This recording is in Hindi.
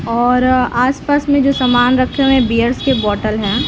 और आस-पास मे जो समान रखें हुए हैं बियर के बोटल हैं।